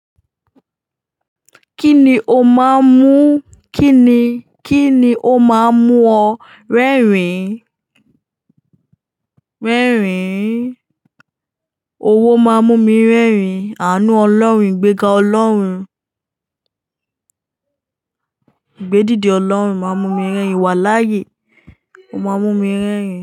Kíni ó máa ń mú? Kíni, kíni ó máa ń mú ọ rẹ́rìn? Rẹ́rìn. Owó máa ń mú mi rẹ́rìn. Àánú Ọlọ́run, ìgbega Ọlọ́run. Ìgbédìde Ọlọ́run máa ń mú mi rẹ́rìn, Iwáláàyè. Ó máa ń mú mi rẹ́rìn.